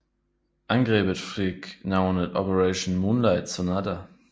Angrebet fik navnet Operation Moonlight Sonata